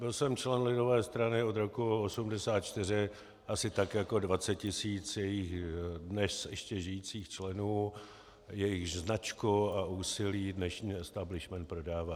Byl jsem člen lidové strany od roku 1984, asi tak jako 20 tisíc jejích dnes ještě žijících členů, jejichž značku a úsilí dnešní estabilishment prodává.